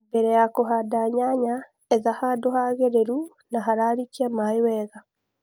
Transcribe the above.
mbele ya kũhanda nyanya, etha handũ hagĩrĩlu na haralikia maĩĩ wega